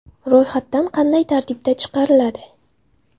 Ro‘yxat dan qanday tartibda chiqariladi?